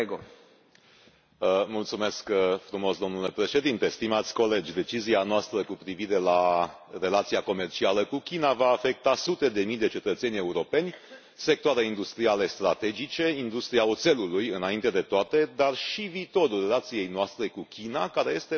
Domnule președinte, stimați colegi, decizia noastră cu privire la relația comercială cu China va afecta sute de mii de cetățeni europeni, sectoare industriale strategice industria oțelului, înainte de toate dar și viitorul relației noastre cu China, care este partenerul strategic al Uniunii Europene.